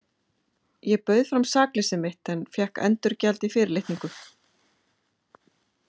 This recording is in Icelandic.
Ég bauð fram sakleysi mitt en fékk endurgjald í fyrirlitningu.